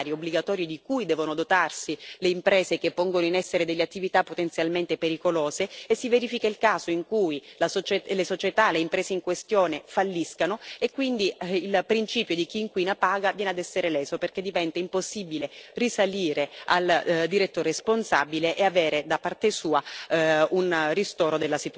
Mancano anche strumenti finanziari obbligatori di cui devono dotarsi le imprese che pongono in essere attività potenzialmente pericolose, perché si verifica il caso in cui le società, le imprese in questione, falliscono e quindi il principio chi inquina paga viene a essere leso, perché diventa impossibile risalire al diretto responsabile e avere, da parte sua,